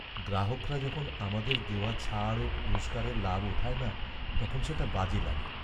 গ্রাহকরা যখন আমাদের দেওয়া ছাড় ও পুরস্কারের লাভ ওঠায় না, তখন সেটা বাজে লাগে।